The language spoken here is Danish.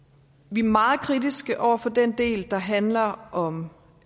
vi er meget kritiske over for den del der handler om